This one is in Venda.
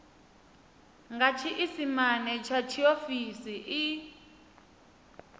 nga tshiisimane tsha tshiofisi i